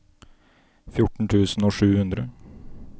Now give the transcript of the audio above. fjorten tusen og sju hundre